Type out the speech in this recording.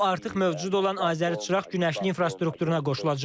O artıq mövcud olan Azər-Çıraq-Günəşli infrastrukturuna qoşulacaq.